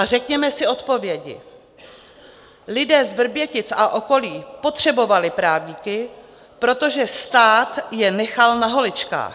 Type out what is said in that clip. A řekněme si odpovědi: Lidé z Vrbětic a okolí potřebovali právníky, protože stát je nechal na holičkách.